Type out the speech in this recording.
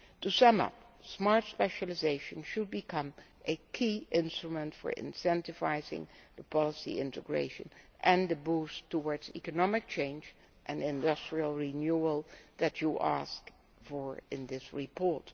To sum up, Smart Specialisation should become a key instrument for incentivising policy integration and the boost towards economic change and industrial renewal that you ask for in this report.